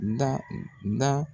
da da.